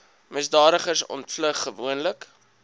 misdadigers ontvlug gewoonlik